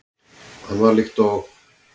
Hann var líkt og